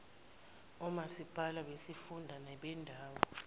omasipalati besifunda nebendawo